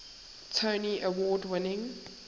tony award winning